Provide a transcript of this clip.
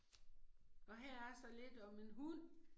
Og her er så lidt om en hund